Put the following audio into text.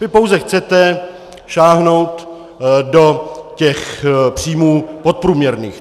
Vy pouze chcete sáhnout do těch příjmů podprůměrných.